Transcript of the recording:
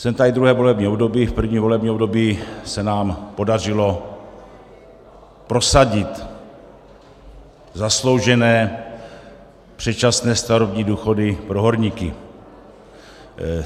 Jsem tady druhé volební období, v prvním volebním období se nám podařilo prosadit zasloužené předčasné starobní důchody pro horníky.